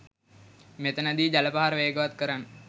මෙතනදි ජල පහර වේගවත් කරන්න.